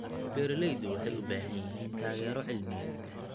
Beeraleydu waxay u baahan yihiin taageero cilmiyeed.